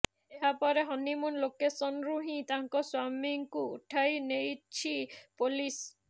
ଏହାପରେ ହନିମୁନ ଲୋକେସନରୁ ହିଁ ତାଙ୍କ ସ୍ୱାମୀଙ୍କୁ ଉଠାଇ ନେଇଛି ପୋଲିସ